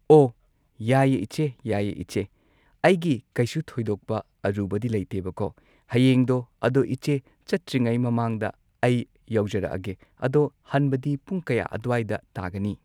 ꯑꯣ ꯌꯥꯏꯌꯦ ꯏꯆꯦ ꯌꯥꯏꯌꯦ ꯏꯆꯦ ꯑꯩꯒꯤ ꯀꯩꯁꯨ ꯊꯣꯏꯗꯣꯛꯄ ꯑꯔꯨꯕꯗꯤ ꯂꯩꯇꯦꯕꯀꯣ ꯍꯌꯦꯡꯗꯣ ꯑꯗꯣ ꯏꯆꯦ ꯆꯠꯇ꯭ꯔꯤꯉꯩ ꯃꯃꯥꯡꯗ ꯑꯩ ꯌꯧꯖꯔꯛꯑꯒꯦ ꯑꯗꯣ ꯍꯟꯕꯗꯤ ꯄꯨꯡ ꯀꯌꯥ ꯑꯗ꯭ꯋꯥꯏꯗ ꯇꯥꯒꯅꯤ